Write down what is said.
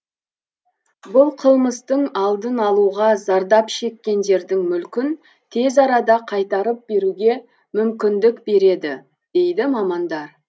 бұл қылмыстың алдын алуға зардап шеккендердің мүлкін тез арада қайтарып беруге мүмкіндік береді дейді мамандар